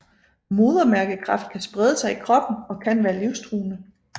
Modermærkekræft kan sprede sig i kroppen og kan være livsstruende